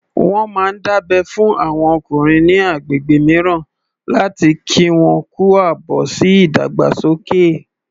Wọ́n máa ń dábẹ́ fún àwọn ọkùnrin ní agbègbè mìíràn láti kí wọn kú àbọ̀ sí ìdàgbàsókè